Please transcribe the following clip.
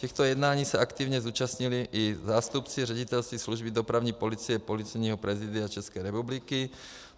Těchto jednání se aktivně zúčastnili i zástupci Ředitelství služby dopravní policie Policejního prezidia České republiky.